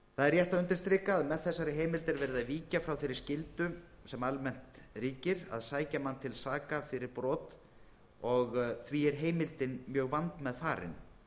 rétt að undirstrika að með þessari heimild er verið að víkja frá þeirri skyldu sem almennt gildir að sækja mann til saka fyrir brot og er því er heimildin mjög vandmeðfarin þau